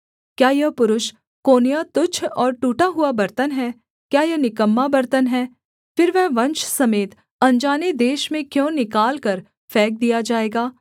क्या यह पुरुष कोन्याह तुच्छ और टूटा हुआ बर्तन है क्या यह निकम्मा बर्तन है फिर वह वंश समेत अनजाने देश में क्यों निकालकर फेंक दिया जाएगा